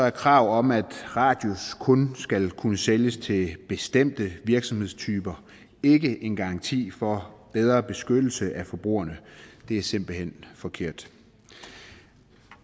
et krav om at radius kun skal kunne sælges til bestemte virksomhedstyper ikke en garanti for bedre beskyttelse af forbrugerne det er simpelt hen forkert